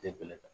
Te bɛlɛ ta